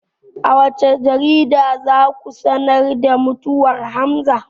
A wacce jarida za ku sanar da mutuwar hamza?